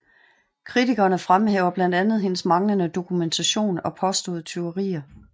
Kritikerne fremhæver blandt andet hendes manglende dokumentation og påståede tyverier